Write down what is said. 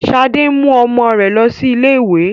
Sade ń mú ọmọ rẹ lọ sí ilé-ìwé